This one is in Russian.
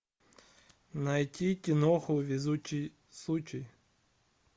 найти киноху везучий случай